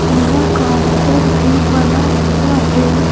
यहां काउंटर भी बना हुआ है।